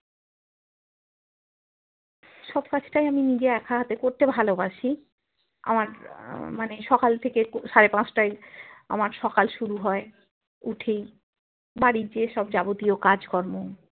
সব কাজটাই আমি নিজে বাক্য হাতে করতে ভালোবাসি আমার আহ মানে সকাল থেকে সাড়ে পাঁচটায় আমার সকাল শুরু হয় উঠি বাড়ির যেসব যাবতীয় কাজকর্ম